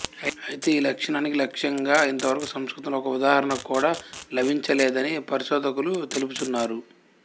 అయితే ఈలక్షణానికి లక్ష్యంగా ఇంతవరకు సంస్కృతంలో ఒక ఉదాహరణ కూడా లభించలేదని పరిశోధకులు తెలుపుచున్నారు